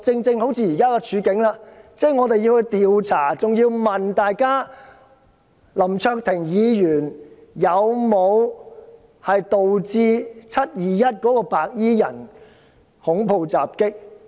正如現在的情況，竟然有人要求調查林卓廷議員有否引致"七二一"白衣人恐怖襲擊。